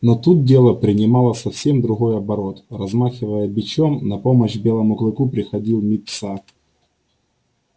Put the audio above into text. но тут дело принимало совсем другой оборот размахивая бичом на помощь белому клыку приходил мит са